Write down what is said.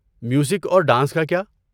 Music اور dance کا کیا؟